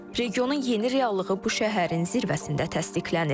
Regionun yeni reallığı bu şəhərin zirvəsində təsdiqlənir.